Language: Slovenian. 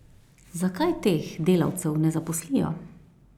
Zakaj teh delavcev ne zaposlijo?